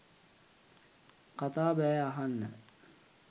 කතා බැහැ අහන්න